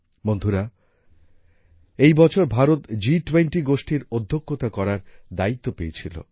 বন্ধুরা এই বছর ভারত জি টোয়েন্টি গোষ্ঠীর অধ্যক্ষতা করার দায়িত্ব পেয়েছিল